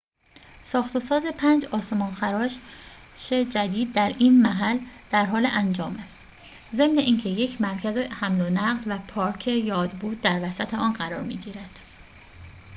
ساخت‌وساز پنج آسمان‌خراش جدید در این محل درحال انجام است ضمن اینکه یک مرکز حمل‌ونقل و پارک یادبود در وسط قرار می‌گیرد